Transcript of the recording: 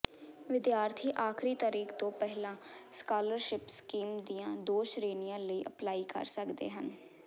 ਵਿਦਿਆਰਥੀ ਆਖਰੀ ਤਾਰੀਖ ਤੋਂ ਪਹਿਲਾਂ ਸਕਾਲਰਸ਼ਿਪ ਸਕੀਮ ਦੀਆਂ ਦੋ ਸ਼੍ਰੇਣੀਆਂ ਲਈ ਅਪਲਾਈ ਕਰ ਸਕਦੇ ਹਨ